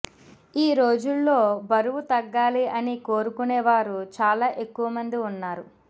ఈ రోజుల్లో బరువు తగ్గాలి అని కోరుకునే వారు చాలా ఎక్కువ మంది ఉన్నారు